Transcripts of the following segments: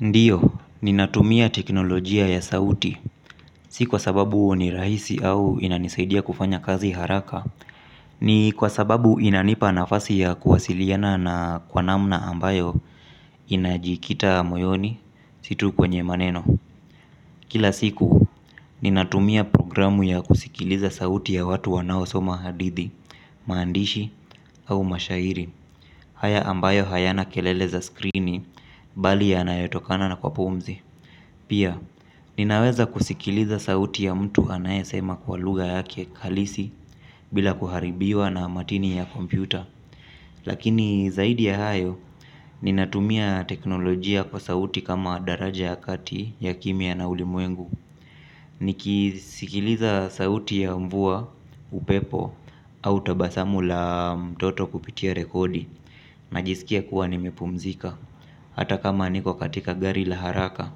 Ndiyo, ninatumia teknolojia ya sauti, si kwa sababu ni rahisi au inanisaidia kufanya kazi haraka, ni kwa sababu inanipa nafasi ya kuwasiliana na kwa namna ambayo inajikita moyoni si tu kwenye maneno. Kila siku, ninatumia programu ya kusikiliza sauti ya watu wanao soma hadithi, maandishi au mashairi. Haya ambayo hayana kelele za skrini bali yanayotokana na kwa pumzi. Pia, ninaweza kusikiliza sauti ya mtu anayesema kwa lugha yake kalisi bila kuharibiwa na matini ya kompyuta. Lakini zaidi ya hayo, ninatumia teknolojia kwa sauti kama daraja kati ya kimya na ulimwengu nikisikiliza sauti ya mvua, upepo, au tabasamu la mtoto kupitia rekodi najisikia kuwa nimepumzika. Hata kama niko katika gari la haraka.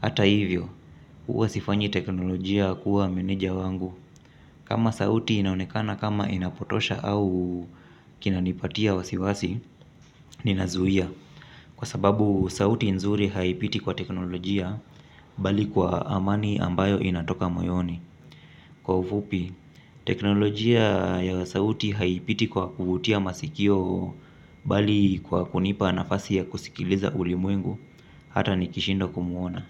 Hata hivyo, huwa sifanyi teknolojia kuwa meneja wangu. Kama sauti inaonekana kama inapotosha au kinanipatia wasiwasi, ninazuia. Kwa sababu sauti nzuri haipiti kwa teknolojia bali kwa amani ambayo inatoka moyoni. Kwa ufupi, teknolojia ya sauti haipiti kwa kuvutia masikio bali kwa kunipa nafasi ya kusikiliza ulimwengu hata nikishindwa kumuona.